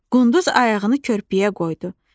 Qunduz ayağını körpüyə qoydu.